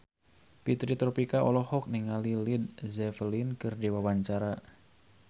Fitri Tropika olohok ningali Led Zeppelin keur diwawancara